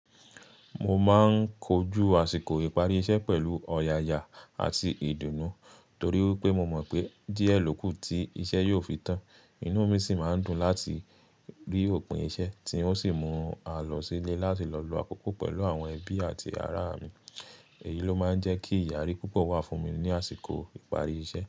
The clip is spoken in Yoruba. Mo máa ń kojú àsìkò ìparí iṣẹ́ pẹ̀lú ọ̀yàyà àti ìdùnnú torí pé mo mọ̀ pé díẹ̀ ló kù tí iṣẹ́ yóò fi tán. Inú mi sì máa ń dùn láti rí òpin iṣẹ́ tí ó sì mú à lọ sílé láti lọ lo àkókò pẹ̀lú àwọn ẹbí àti ará mi. Èyí ló máa ń jẹ́ kí ìyàrí púpọ̀ wà fún mi ní àsìkò ìparí iṣẹ́.